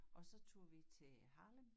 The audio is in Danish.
Og så tog vi til Harlem